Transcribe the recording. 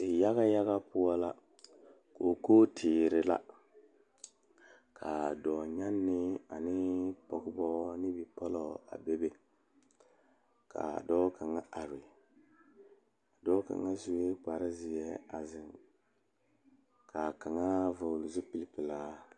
Pɔgeba are ka bamine zeŋ ka gangaare biŋ kaŋa zaa toɔ puli kyɛ ka ba zage ba nuure kaa do saa kyɛ ka ba gbɛɛ meŋ dɔɔ kaŋa suɛ kpare ziɛ a zeŋ kaa kaŋa vɔgle zupele pelaa.